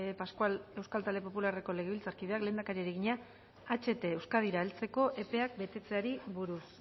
pascual euskal talde popularreko legebiltzarkideak lehendakariari egina aht euskadira heltzeko epeak betetzeari buruz